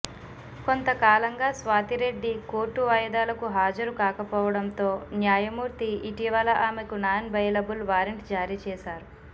కొంతకాలంగా స్వాతిరెడ్డి కోర్టు వాయిదాలకు హాజరు కాకపోవడంతో న్యాయమూర్తి ఇటీవల ఆమెకు నాన్ బెయిలబుల్ వారెంట్ జారీ చేశారు